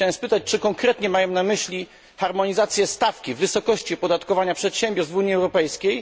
Chciałbym spytać, czy konkretnie mają na myśli harmonizację stawki wysokości opodatkowania przedsiębiorstw w Unii Europejskiej.